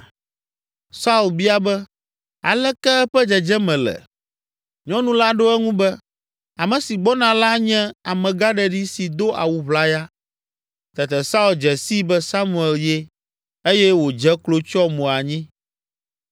Saul bia be, “Aleke eƒe dzedzeme le?” Nyɔnu la ɖo eŋu be, “Ame si gbɔna la nye amegãɖeɖi si do awu ʋlaya.” Tete Saul dze sii be Samuel ye eye wodze klo tsyɔ mo anyi.